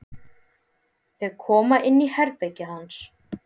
Þau koma inn í herbergið hans.